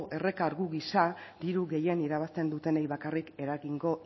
errekargu gisa diru gehien irabazten dutenei bakarrik eragingo